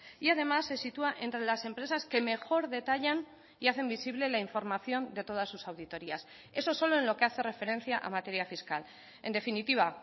y además se sitúa entre las empresas que mejor detallan y hacen visible la información de todas sus auditorías eso solo en lo que hace referencia a materia fiscal en definitiva